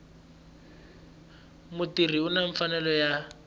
mutirhi u na mfanelo ya